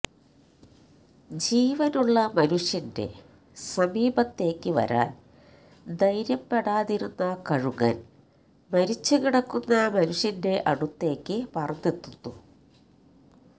ജീവനുള്ള മനുഷ്യന്റെ സമീപത്തേക്കു വരാൻ ധൈര്യപ്പെടാതിരുന്ന കഴുകൻ മരിച്ചുകിടക്കുന്ന മനുഷ്യന്റെ അടുത്തേക്ക് പറന്നെത്തുന്നു